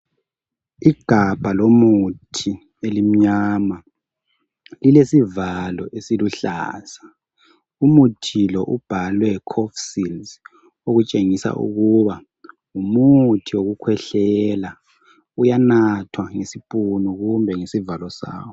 Igabha lomuthi elimnyama lilesivalo esiluhlaza , umuthi lo ubhalwe Cofsils okutshengisa ukuthi ngumuthi wokuhwehlela uyanathwa ngesipunu loba ngesivalo sawo.